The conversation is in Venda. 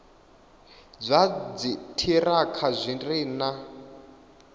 zwa dziṱhirakha zwi re na